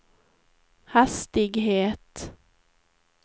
hastighet